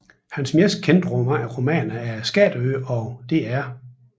Hans mest kendte romaner er Skatteøen og Dr